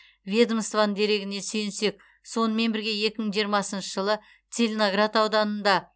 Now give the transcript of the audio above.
ведомствоның дерегіне сүйенсек сонымен бірге екі мың жиырмасыншы жылы целиноград ауданында